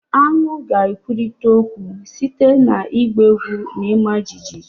Aṅu ga-ekwurịta okwu site na ịgba egwu na ịma jijiji